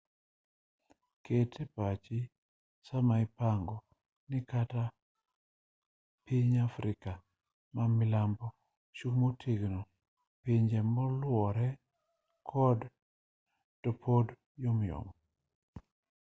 ket epachi sama ipango ni kata ka piny afrika mamilambo ochung' motegno pinje moluore to pod yomyom